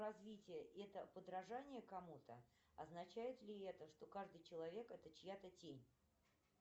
развитие это подражание кому то означает ли это что каждый человек это чья то тень